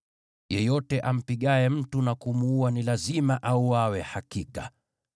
“Yeyote ampigaye mtu na kumuua ni lazima auawe hakika.